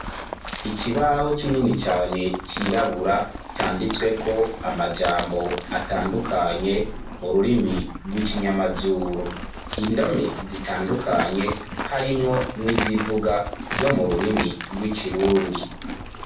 Ikibaho, kinini cane, cirabura, canditsweko amajambo, atandukanye, mu rurimi rw'ikinyamazuru; indome zitandukanye, harimwo n'izivuga, zo mu rurimi rw'ikirundi.